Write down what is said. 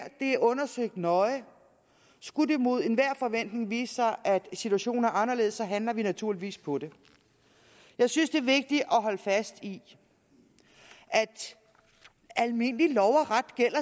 er undersøgt nøje skulle det imod enhver forventning vise sig at situationen er anderledes handler vi naturligvis på det jeg synes det er vigtigt at holde fast i at almindelig lov og ret